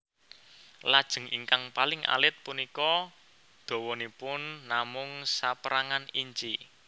Lajeng ingkang paling alit punika dawanipun namung sapérangan inci